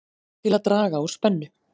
Til að draga úr spennu